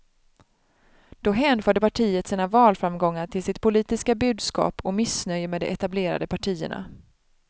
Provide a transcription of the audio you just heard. Då hänförde partiet sina valframgångar till sitt politiska budskap och missnöje med de etablerade partierna.